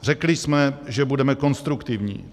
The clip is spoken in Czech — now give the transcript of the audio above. Řekli jsme, že budeme konstruktivní.